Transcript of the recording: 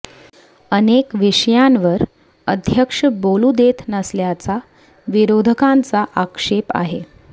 अनेक विषयांवर अध्यक्ष बोलू देत नसल्याचा विरोधकांचा आक्षेप आहे